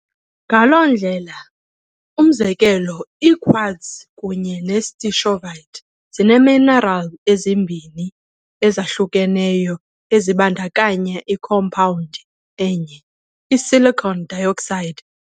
Ngaloo ndlela, umzekelo, i-quartz kunye ne-stishovite ziiminerali ezimbini ezahlukeneyo ezibandakanya ikhompawundi enye, i-silicon dioxide.